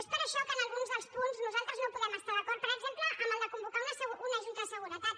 és per això que en alguns dels punts nosaltres no hi podem estar d’acord per exemple en el de convocar una junta de seguretat